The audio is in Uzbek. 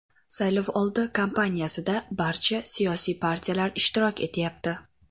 Saylovoldi kampaniyasida barcha siyosiy partiyalar ishtirok etayapti.